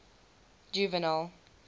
juvenal